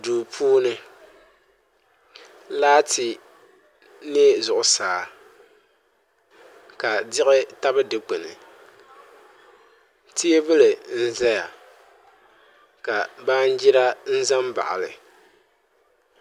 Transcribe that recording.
Duu puuni laati niɛ zuɣusaa ka diɣi tabi dikpuni teebuli n ʒɛya ka baanjira ʒɛ n baɣali